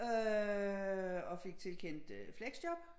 Øh og fik tilkendt flexjob